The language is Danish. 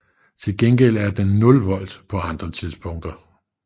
Til gengæld er den nul volt på andre tidspunkter